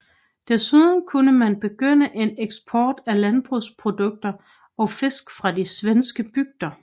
Desuden kunne man begynde en eksport af landbrugsprodukter og fisk fra de svenske bygder